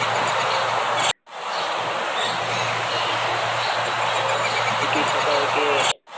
મૂકી શકાય કે